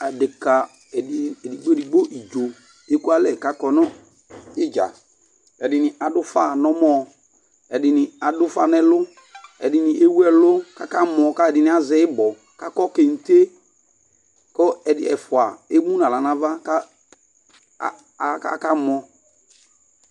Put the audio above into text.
Adeka edi edigbo digbo idzo eku alɛ k'akɔnu idza Ɛdini ad'ufa n'ɔmɔ, ɛdini ad'ufa n'ɛlu, ɛdini ewu ɛlu k'aka mɔ k'alu'ɛdini azɛ ibɔ k'akɔ kente, kɔ ɛfu emu n'aɣla n'ava k'aka mɔ